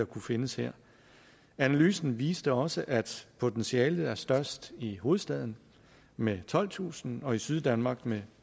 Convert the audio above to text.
kunne findes her analysen viste også at potentialet er størst i hovedstaden med tolvtusind og i syddanmark med